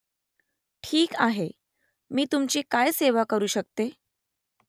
ठीक आहे . मी तुमची काय सेवा करू शकते ?